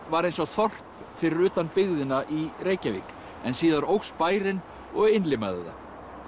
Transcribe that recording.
var eins og þorp fyrir utan byggðina í Reykjavík en síðar óx bærinn og innlimaði það